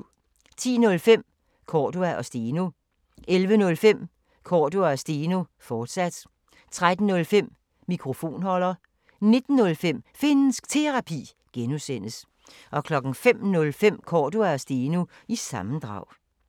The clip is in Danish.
10:05: Cordua & Steno 11:05: Cordua & Steno, fortsat 13:05: Mikrofonholder 19:05: Finnsk Terapi (G) 05:05: Cordua & Steno – sammendrag